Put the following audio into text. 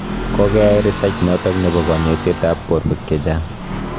Kokeai research notok nebo kanyaiset ap porwek chechang